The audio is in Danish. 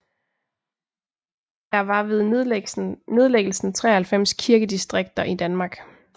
Der var ved nedlæggelsen 93 kirkedistrikter i Danmark